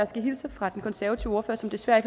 skal hilse fra den konservative ordfører som desværre